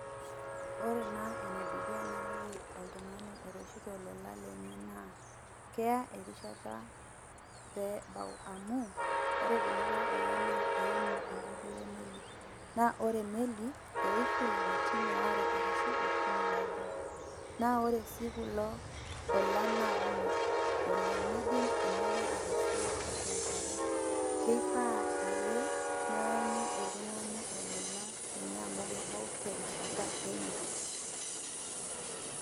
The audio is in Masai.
Ore naa enedukuya naliki oltung'ani oreshito olola lenye naa, kea erishata peebau. Amu, ore kulikae ola naa eimu enkoitoi emeli, naa ore emeli, eishu lapaitin waare arashu okuni pebau. Na ore si kulo olan na kumok oleng. Midim emeli atasioi tiatua enkare. Kifaa ake, neanyu oltung'ani olola lenye amu kebau terishata enye.